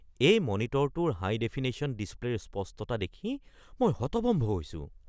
এই মনিটৰটোৰ হাই-ডেফিনেশ্যন ডিছপ্লে'ৰ স্পষ্টতা দেখি মই হতভম্ব হৈছোঁ।